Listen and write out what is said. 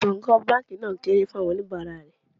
Gbọ̀ǹgbọ̀ǹ báńkì náà kéré fún àwọn oníbàárà rè.